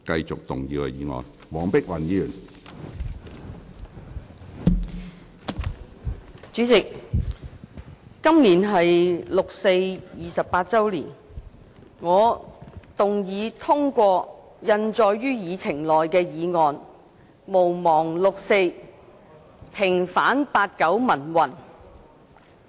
主席，今年是六四28周年，我動議通過印載於議程內的議案：毋忘六四，平反八九民運。